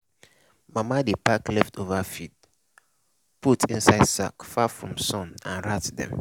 mama dey pack leftover feed put inside sack far from sun and rat dem.